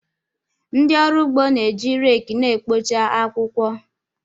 Ndị ọrụ ugbo na-eji rake na-ekpocha akwụkwọ.